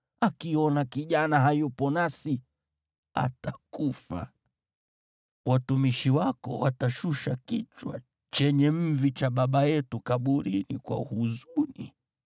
akiona kijana hayupo nasi, atakufa. Watumishi wako watashusha kichwa chenye mvi cha baba yetu kaburini kwa huzuni.